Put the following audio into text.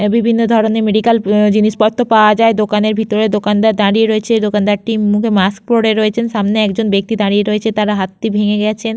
বিভিন্ন ধরনের মেডিক্যাল জিনিসপত্র পাওয়া যায় দোকানের ভিতরে দোকানদার দাঁড়িয়ে রয়েছে এই দোকানদারটি মুখে মাস্ক পরে রয়েছেন সামনে একজন ব্যক্তি দাঁড়িয়ে রয়েছে তার হাতটি ভেঙে গেছেন।